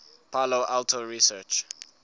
palo alto research